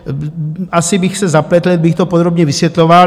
Asi bych se zapletl, kdybych to podrobně vysvětloval.